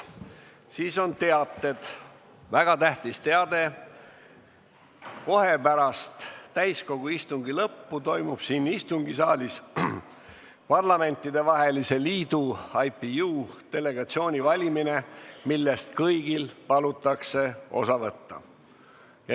Siis on mul üks väga tähtis teade: kohe pärast täiskogu istungi lõppu toimub siin istungisaalis Parlamentidevahelise Liidu delegatsiooni valimine, millest kõigil palutakse osa võtta.